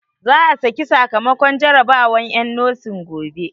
Za a saki sakamakon jarabawan en nosin gobe